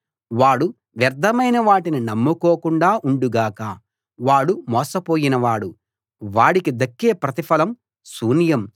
వాడు వ్యర్ధమైన వాటిని నమ్ముకోకుండా ఉండు గాక వాడు మోసపోయినవాడు వాడికి దక్కే ప్రతిఫలం శూన్యం